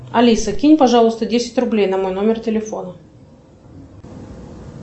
алиса кинь пожалуйста десять рублей на мой номер телефона